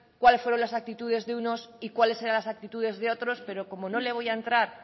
cuáles fueron las actitudes de unos y cuáles eran las actitudes de otros pero como no le voy a entrar